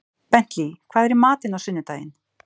Bentley, hvað er í matinn á sunnudaginn?